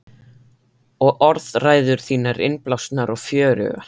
Og orðræður þínar, innblásnar og fjörugar.